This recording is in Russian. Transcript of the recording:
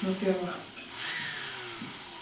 во-первых